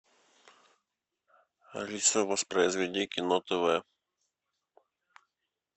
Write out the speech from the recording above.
алиса воспроизведи кино тв